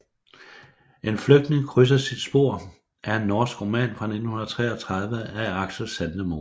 En flygtning krydser sit spor er en norsk roman fra 1933 af Aksel Sandemose